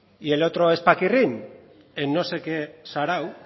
y el otro es paquirrín en no sé qué sarao